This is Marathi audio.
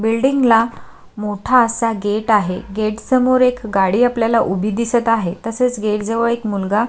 बिल्डिंगला मोठा असा गेट आहे गेट समोर एक गाडी आपल्याला उभी दिसत आहे तसेच गेट जवळ एक मुलगा --